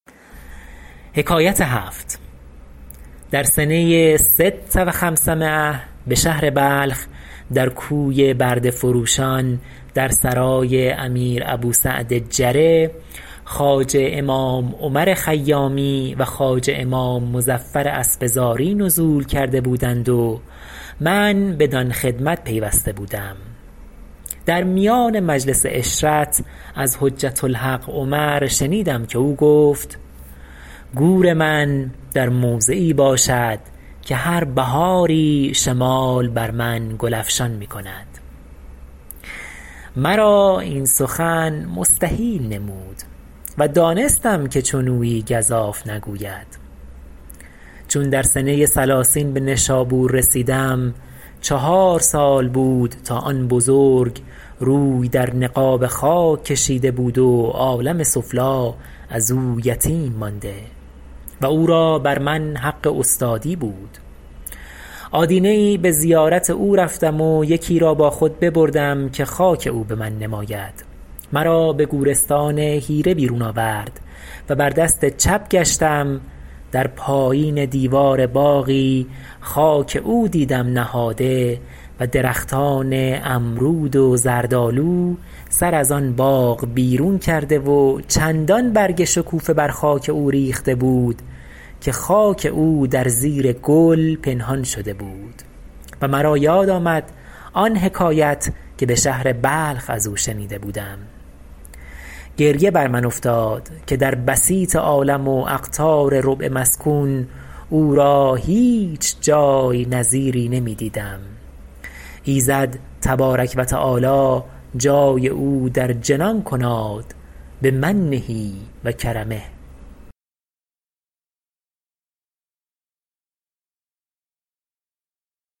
در سنه ست و خمسمایة به شهر بلخ در کوی برده فروشان در سرای امیر ابو سعد جره خواجه امام عمر خیامی و خواجه امام مظفر اسفزاری نزول کرده بودند و من بدان خدمت پیوسته بودم در میان مجلس عشرت از حجة الحق عمر شنیدم که او گفت گور من در موضعی باشد که هر بهاری شمال بر من گل افشان می کند مرا این سخن مستحیل نمود و دانستم که چنویی گزاف نگوید چون در سنه ثلاثین به نشابور رسیدم چهار چند - ن سال بود تا آن بزرگ روی در نقاب خاک کشیده بود و عالم سفلی از او یتیم مانده و او را بر من حق استادی بود آدینه ای به زیارت او رفتم و یکی را با خود ببردم که خاک او به من نماید مرا به گورستان حیره بیرون آورد و بر دست چپ گشتم در پایین دیوار باغی خاک او دیدم نهاده و درختان امرود و زردآلو سر از آن باغ بیرون کرده و چندان برگ شکوفه بر خاک او ریخته بود که خاک او در زیر گل پنهان شده بود و مرا یاد آمد آن حکایت که به شهر بلخ از او شنیده بودم گریه بر من افتاد که در بسیط عالم و اقطار ربع مسکون او را هیچ جای نظیری نمی دیدم ایزد تبارک و تعالی جای او در جنان کناد بمنه و کرمه